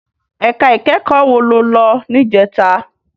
Èká ikèékò wó ló lò nijètá?